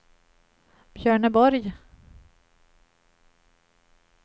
Björneborg